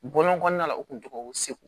Bɔlɔn kɔnɔna la u kun tɔgɔ ko segu